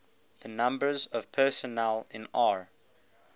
the numbers of personnel in r